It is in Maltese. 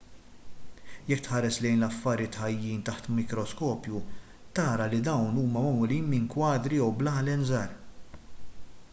jekk tħares lejn l-affarijiet ħajjin taħt mikroskopju tara li dawn huma magħmulin minn kwadri jew blalen żgħar